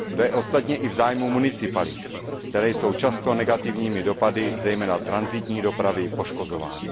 To je ostatně i v zájmu municipalit, které jsou často negativními dopady, zejména tranzitní dopravy, poškozovány.